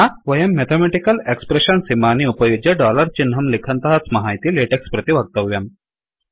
वयं mathematical expression इमानि उपयुज्य डोलार् चिह्नं लिखन्तः स्मः इति लेटेक्स् प्रति वक्तव्यम्